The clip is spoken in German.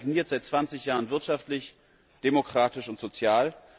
Das Land stagniert seit 20 Jahren wirtschaftlich, demokratisch und sozial.